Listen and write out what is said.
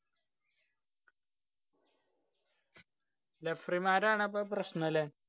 referee മാരാണ് അപ്പൊ പ്രശ്നം ല്ലേ?